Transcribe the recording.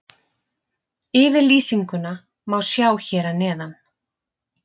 Yfirlýsinguna má sjá hér að neðan.